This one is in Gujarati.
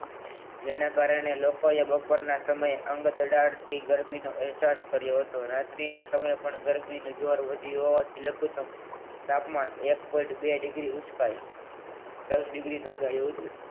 એના કારણે લોકો એ બપોરના સમયે અંગ અડાડથી ગરમીનો અહેસાસ કર્યો હતો રાત્રિના સમયે પણ ગરમી નું જોર વધ્યું હોવાથી લઘુતમ તાપમાન એક point બે degree ઊંચકાયું દસ degree નોધાયું હતું